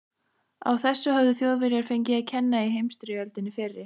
Á þessu höfðu Þjóðverjar fengið að kenna í heimsstyrjöldinni fyrri.